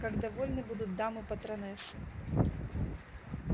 как довольны будут дамы-патронессы